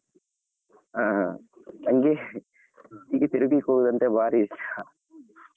ಹಾ ನಂಗೆ ಹೀಗೆ ತಿರುಗಲಿಕ್ಕೆ ಹೋಗುದಂದ್ರೆ ಭಾರಿ ಇಷ್ಟ .